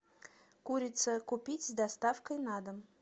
курица купить с доставкой на дом